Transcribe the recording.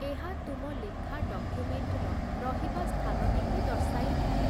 ଏହା ତୁମ ଲେଖା ଡକ୍ୟୁମେଣ୍ଟର ରହିବା ସ୍ଥାନଟିକୁ ଦର୍ଶାଇଥାଏ ।